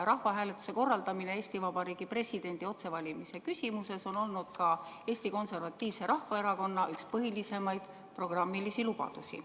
Rahvahääletuse korraldamine Eesti Vabariigi presidendi otsevalimise küsimuses on olnud ka Eesti Konservatiivse Rahvaerakonna põhilisi programmilisi lubadusi.